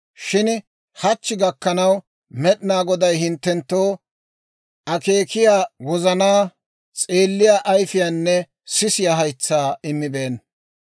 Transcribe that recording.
Shin hachchi gakkanaw, Med'inaa Goday hinttenttoo akeekiyaa wozanaa, s'eelliyaa ayifiyaanne sisiyaa haytsaa immibeenna.